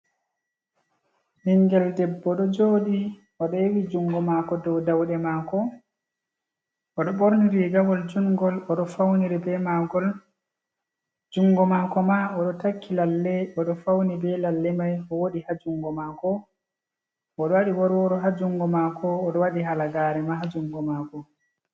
Bningel debbo ɗo joɗi oɗo yewi jungo mako do ɗauɗe mako, oɗo ɓorniri rigawol jungol oɗo fauniri be magol, jungo mako ma oɗo takki lalle oɗo fauni be lalle mai o woɗi ha jungo mako, oɗo waɗi worworo ha jungo mako, oɗo waɗi halagare ma ha jungo mako.